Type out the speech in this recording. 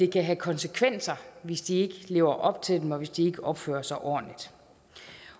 kan have konsekvenser hvis de ikke lever op til dem op og hvis de ikke opfører sig ordentligt